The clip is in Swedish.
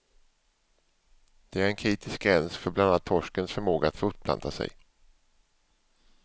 Det är en kritisk gräns för bland annat torskens förmåga att fortplanta sig.